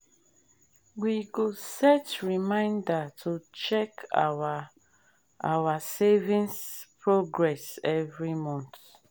i don create savings plan wey go help me buy my first house.